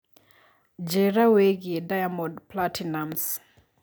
njĩira wĩigie diamond platinumz